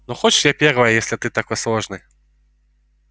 ну хочешь я первая если ты такой сложный